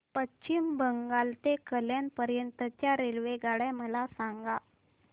पश्चिम बंगाल ते कल्याण पर्यंत च्या रेल्वेगाड्या मला सांगा